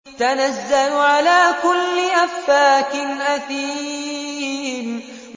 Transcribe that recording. تَنَزَّلُ عَلَىٰ كُلِّ أَفَّاكٍ أَثِيمٍ